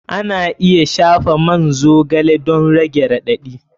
Ana iya shafa man zogale don rage raɗaɗi.